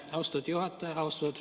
Aitäh, austatud juhataja!